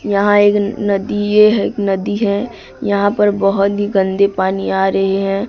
यहां एक नदी ये है एक नदी है यहां पर बहोत ही गंदे पानी आ रहे है।